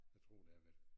Jeg tror det har været